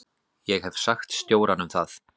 Ég hef sagt stjóranum það.